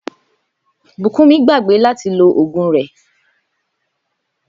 Bùkúnmi gbàgbé láti lo ògùn rè̩